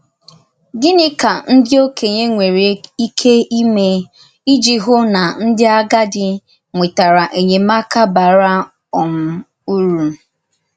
Gịnị ka ndí òkènye nwerè íké ímè iji hụ̀ na ndí àgádì nwètàrà enyémákà bàrà um ùrù?